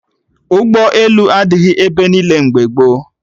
Ụgbọelu adịghị ebe niile mgbe gboo